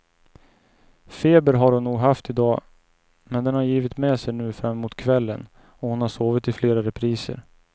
Feber har hon nog haft i dag, men den har givit med sig nu framemot kvällen och hon har sovit i flera repriser.